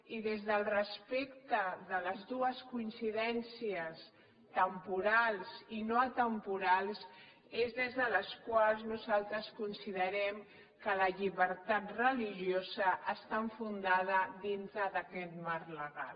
i des del respecte de les dues coincidències temporals i no temporals és des de les quals nosaltres considerem que la llibertat religiosa està enfundada dintre d’aquest marc legal